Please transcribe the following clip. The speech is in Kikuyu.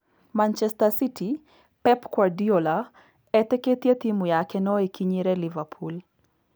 Manchester City: Pep kuardiola etĩkĩtie timũ yake noĩkinyĩre Liverpool